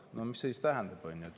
No mis see siis tähendab?